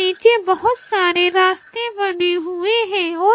पीछे बहोत सारे रास्ते बने हुए हैं और--